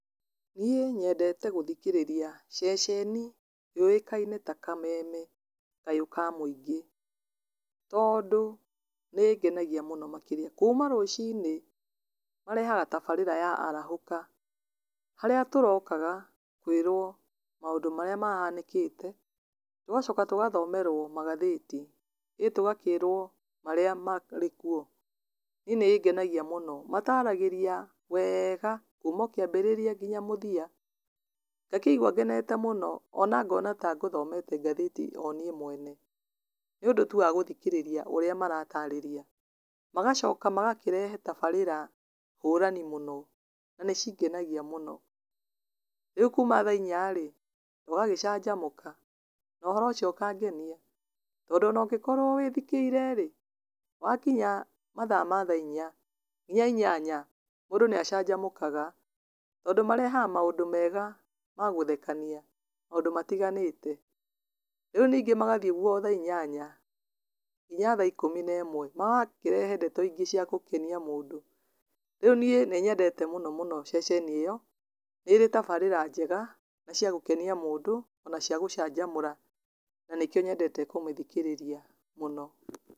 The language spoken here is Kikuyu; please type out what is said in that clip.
Nĩ nyendete gũthikĩrĩria ceceni yoĩkaine ta kameme kayũ ka mwĩingĩ, tondũ nĩ ĩngenagia mũno makĩria, kuuma rũcinĩ, ma rehaga tabarĩra ya arahũka, harĩa tũrokaga kwĩrwo maũndũ marĩa mahanĩkĩte, tũgacoka tũgathomerwo magathĩti, ĩ tũgakĩrwo marĩa marĩ kuo, nĩ nĩ ĩngenagia mũno, mataragĩria weega kuuma o kĩambĩrĩria nginya mũthia, ngakĩigwa ngenete mũno, ona ngona ka ngũthomete ngathĩti oniĩ mwene, nĩ ũndũ tu wa gũthikĩrĩria ũrĩa maratarĩria, magacoka magakĩrehe tabarĩra hũrani mũno, na nĩ cingenagia mũno, rĩu kuuma thaa inyarĩ, tũgagĩcanjamũka na ũhoro ũcio ũkangenia, tondũ ona ũngĩkorwo wĩ thĩkĩirerĩ, wakinya mathaa ma thaa inya, nginya inyanya, mũndũ nĩ acanjamũkaga, tondũ marehaga maũndũ mega magũthekania, maũndũ matiganĩte, rĩu ningĩ magathiĩ ũguo thaa inyanya, nginya thaa ikũmi na ĩmwe, magakĩrehe ndeto ingĩ cia gũkenia mũndũ, rĩu niĩ nĩ yendete mũno mũno ceceni ĩyo, nĩrĩ tabarĩra njega, na cia gũkenia mũndũ, ona cia gũcanjamũra na nĩkĩo nyendete kũmĩthikĩrĩria mũno.